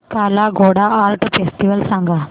काला Ghoda art festival सांग